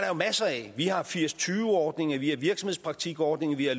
jo masser af vi har firs til tyve ordninger vi har virksomhedspraktikordninger vi har